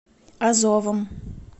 азовом